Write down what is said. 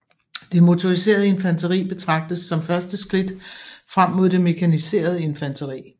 Det motoriserede infanteri betragtes som første skridt frem mod det mekaniserede infanteri